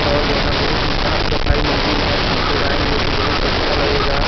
और यहाँ बहुत ही साफ-सफाई मंदिल है आपलोग आएगे तो बहुत अच्छा लगेगा।